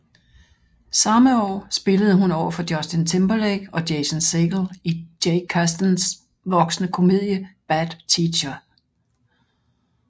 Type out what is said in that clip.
Samme år spillede hun overfor Justin Timberlake og Jason Segel i Jake Kasdans voksne komedie Bad Teacher